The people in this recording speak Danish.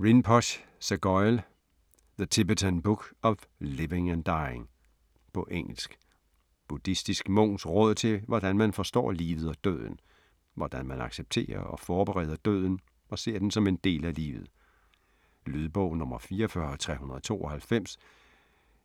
Rinpoche, Sogyal: The Tibetan book of living and dying På engelsk. Buddhistisk munks råd til, hvordan man forstår livet og døden. Hvordan man accepterer og forbereder døden og ser den som en del af livet. Lydbog 44392